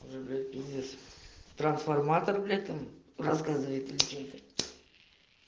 инес трансформатор этом рассказывает им